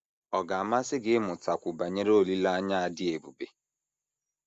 Ọ̀ ga - amasị gị ịmụtakwu banyere olileanya a dị ebube?